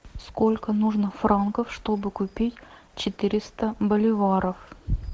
сколько нужно франков чтобы купить четыреста боливаров